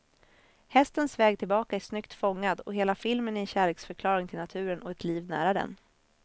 Hästens väg tillbaka är snyggt fångad, och hela filmen är en kärleksförklaring till naturen och ett liv nära den.